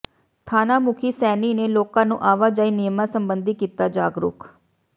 ਥਾਣਾ ਮੁਖੀ ਸੈਣੀ ਨੇ ਲੋਕਾਂ ਨੂੰ ਆਵਾਜਾਈ ਨਿਯਮਾਂ ਸਬੰਧੀ ਕੀਤਾ ਜਾਗਰੂਕ